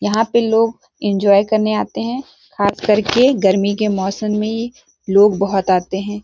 यहाँ पे लोग एन्जॉय करने आते है खास करके गर्मी के मौसम में लोग बहोत आते है।